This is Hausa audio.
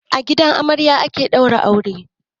A gidan amarya ake daura aure.